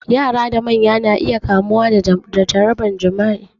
Yara da manya na iya kamuwa da jarabar jima'i